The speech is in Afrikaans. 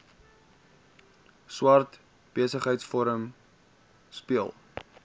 swart besigheidsforum speel